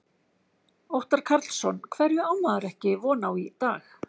Óttar Karlsson: Hverju á maður ekki von á í dag?